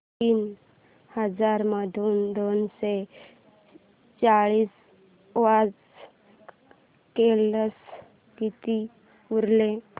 तीन हजार मधून दोनशे चाळीस वजा केल्यास किती उरतील